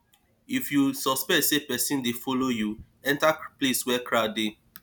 if you suspect say pesin dey follow you enter place wey crowd dey